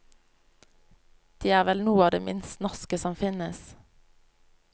De er vel noe av det minst norske som finnes.